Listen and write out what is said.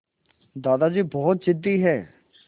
दादाजी बहुत ज़िद्दी हैं